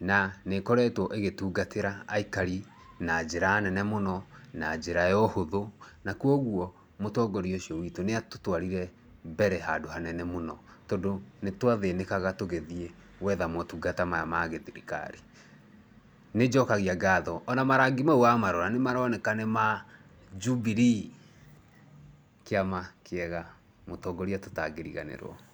Na nĩ ĩkoretwo ĩgĩtungatĩra aikari na njĩra nene mũno, na njĩra ya ũhũthũ. Na kwoguo mũtongoria ũcio witũ nĩ atũtwarire mbere handũ hanene mũno. Tondũ nĩ twathĩnĩkaga tũgĩthiĩ gwetha motungata maya ma gĩ-thirikari. Nĩ njokagia ngatho. Ona marangi mau wa marora nĩ maroneka nĩ ma Jubilee. Kĩama kĩega. Mũtongoria tũtangĩriganĩrwo.